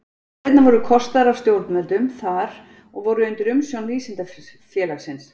Ferðirnar voru kostaðar af stjórnvöldum þar og voru undir umsjón Vísindafélagsins.